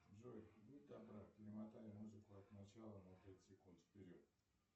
джой будь добра перемотай музыку от начала на пять секунд вперед